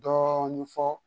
Dɔɔnin fɔ